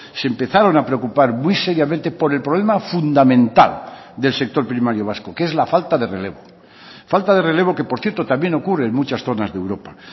se empezaron a preocupar muy seriamente por el problema fundamental del sector primario vasco que es la falta de relevo falta de relevo que por cierto también ocurre en muchas zonas de europa